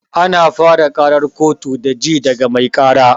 Ana fara ƙarar kotu da ji daga mai ƙara